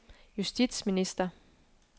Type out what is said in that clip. justitsminister